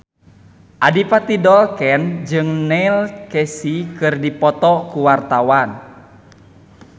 Adipati Dolken jeung Neil Casey keur dipoto ku wartawan